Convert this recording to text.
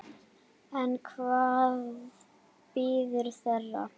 En hvað bíður þeirra?